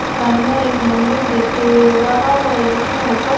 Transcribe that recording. सामने एक मंदिर दिख रहा है जिसमें ऊपर--